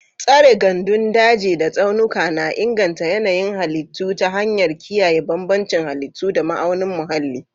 Tsare gandun daji da tsaunuka na inganta yanayin halittu ta hanyar kiyaye bambancin halittu da ma'aunin muhalli.